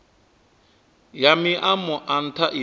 ya maimo a ntha ine